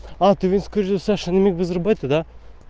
ответь скорее совершенно мегабайта